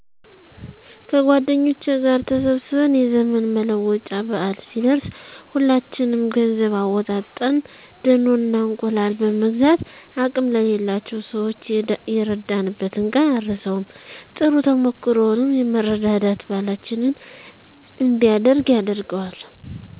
ከጎደኞቸ ጋር ተሰብስበን የዘመን መለወጫ በአል ሲደረስ ሁላችንም ገንዘብ አወጣጠን ደኖ እና እንቁላል በመግዛት አቅም ለሌላቸው ሰዋች የረዳንበትን ቀን አረሳውም። ጥሩ ተሞክሮውም የመረዳዳት ባሕላችን እንዲያድግ ያደርገዋል።